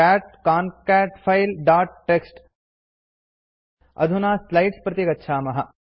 cat concat file dot TXT अधुना slides प्रति गच्छामः